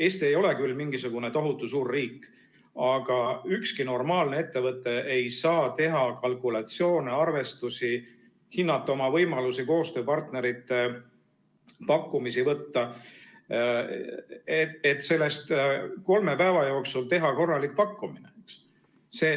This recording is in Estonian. Eesti ei ole küll mingisugune tohutu suur riik, aga ükski normaalne ettevõte ei saa teha kalkulatsioone, arvestusi, hinnata oma võimalusi, koostööpartnerite pakkumisi võtta, et sellest kolme päeva jooksul teha korralik pakkumine.